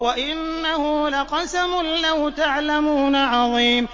وَإِنَّهُ لَقَسَمٌ لَّوْ تَعْلَمُونَ عَظِيمٌ